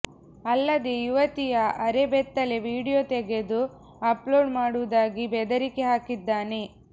ಅಲ್ಲದೆ ಯುವತಿಯ ಅರೆ ಬೆತ್ತಲೆ ವಿಡಿಯೋ ತೆಗೆದು ಅಪ್ಲೋಡ್ ಮಾಡುವುದಾಗಿ ಬೆದರಿಕೆ ಹಾಕಿದ್ದಾನೆ